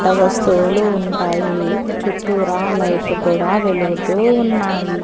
డ వస్తువులు ఉంటాయి చుట్టూరా లైట్లు కూడా వెలుగుతూ ఉన్నాయి.